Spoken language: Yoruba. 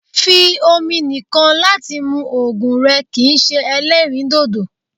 fí omi nìkàn láti mù òògùn rẹ̀ kìí ṣe èlẹrīndòdò